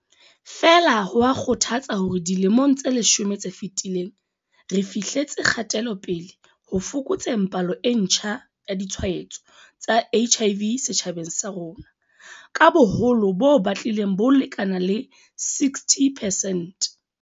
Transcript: Feela, ho a kgothatsa hore dilemong tse leshome tse fetileng re fihletse kgatelopele ho fokotseng palo e ntjha ya ditshwaetso tsa HIV setjhabeng sa rona ka boholo bo batlileng bo lekana le 60 percent.